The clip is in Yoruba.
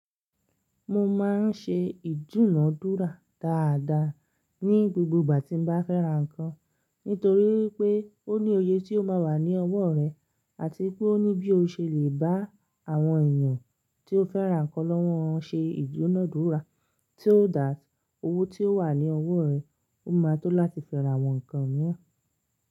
Mo máa ń ṣe ìdúnadúrà dáadáa ní gbogbo ìgbà tí n bá fẹ́ra nǹkan. Nítorí pé ó ní òye tí ó máa wà ní ọwọ́ rẹ àti pé ó ní bí o ṣe lè bá àwọn èèyàn tí ó fẹ́ra nǹkan lọ́wọ́ ṣe ìdúnadúrà tí yóò dáa. Owó tí ó wà ní ọwọ́ rẹ ó máa tó láti fẹ́ra àwọn nǹkan mìíràn.